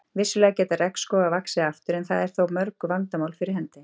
Vissulega geta regnskógar vaxið aftur en það eru þó mörg vandamál fyrir hendi.